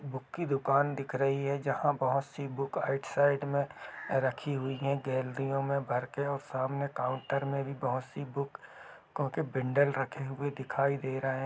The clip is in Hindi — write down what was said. बुक की दुकान दिख रही हैं जहाँ बहोत सी बुक आइट साइड मे रखी हुई हैं बेलड़ियों मे भरके और सामने काउन्टर मे भी बहुत सी बुक को के बेन्डल रखे हुए दिखाई दे रहे हैं।